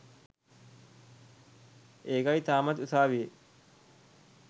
ඒකයි තාමත් උසාවියේ